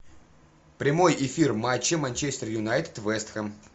прямой эфир матча манчестер юнайтед вест хэм